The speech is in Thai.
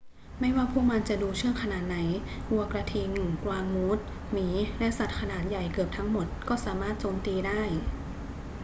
ไม่ว่าพวกมันจะดูเชื่องขนาดไหน วัวกระทิง กวางมูส หมี และสัตว์ขนาดใหญ่เกือบทั้งหมดก็สามารถโจมตีได้